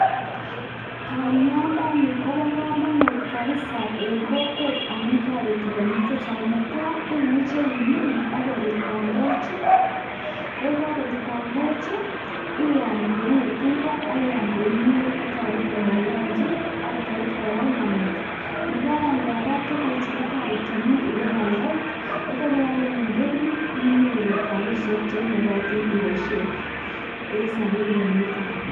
Bandianiton kobo kamanut mising eng kokwet amun toreti konyil chechang, ne tai imuchei imin ak korut bandechu, koi kakorut bandechu iyaam koi iwe tinga ak iam koek kimnyet kotoretin eng lanchi ako toretin kora eng langat. Nebo aeng kora, tuguchu kotoreti biik ipealde, ye kealde eng indonyo inyoru rapishek cheimukatin ipoishen eng sobet nemi tai.